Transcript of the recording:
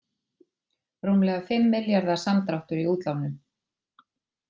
Rúmlega fimm milljarða samdráttur í útlánum